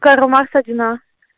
карла маркса один а